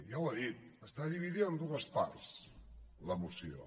ja ho ha dit està dividida en dues parts la moció